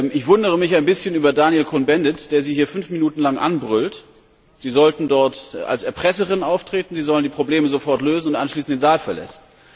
Ich wundere mich ein bisschen über Daniel Cohn Bendit, der Sie hier fünf Minuten lang anbrüllt Sie sollten dort als Erpresserin auftreten, Sie sollen die Probleme sofort lösen und anschließend den Saal verlässt.